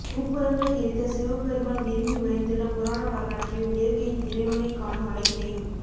முப்புரங்களை எரித்த சிவபெருமான் விரும்பி உறைந்துள்ள புராண வரலாற்றையும் இயற்கையில் இறைவனைக் காணும் அழகினையும்